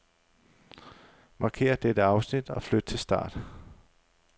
Markér dette afsnit og flyt til start.